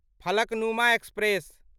Falaknuma express